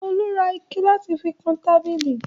Olu ra igi láti fi kan tábìlì.